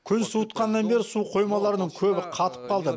күн суытқаннан бері су қоймаларының көбі қатып қалды